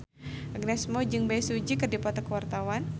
Agnes Mo jeung Bae Su Ji keur dipoto ku wartawan